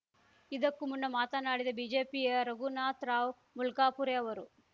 ಇದಕ್ಕೂ ಮುನ್ನ ಮಾತನಾಡಿದ ಬಿಜೆಪಿಯ ರಘುನಾಥ್ ರಾವ್‌ ಮುಲ್ಕಾಪುರೆ ಅವರು